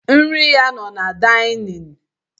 Nri ya no na daịnịn.